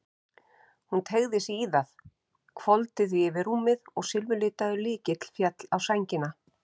Hún teygði sig í það, hvolfdi því yfir rúmið og silfurlitaður lykill féll á sængina.